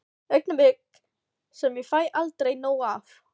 Augnablik sem ég fæ aldrei nóg af.